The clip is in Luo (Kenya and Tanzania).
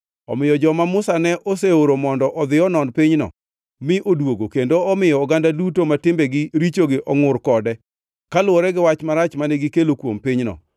Omiyo joma Musa ne oseoro mondo odhi onon pinyno, mi odwogo kendo omiyo oganda duto ma timbegi richogi ongʼur kode kaluwore gi wach marach mane gikelo kuom pinyno;